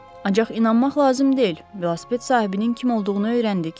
Ancaq inanmaq lazım deyil, velosiped sahibinin kim olduğunu öyrəndik.